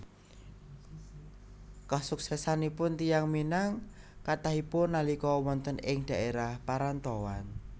Kasuksésanipun tiyang Minang kathahipun nalika wonten ing dhaérah parantauan